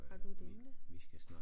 Har du et emne?